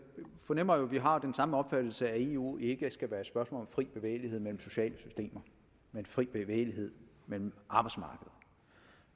fornemmer at vi har den samme opfattelse af at eu ikke skal være et spørgsmål om fri bevægelighed mellem sociale systemer men fri bevægelighed mellem arbejdsmarkeder